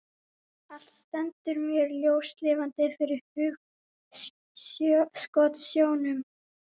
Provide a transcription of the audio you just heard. Allt stendur mér ljóslifandi fyrir hugskotssjónum.